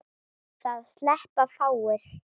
Það sleppa fáir.